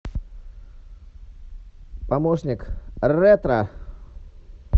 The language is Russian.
помощник ретро